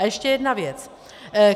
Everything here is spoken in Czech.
A ještě jedna věc.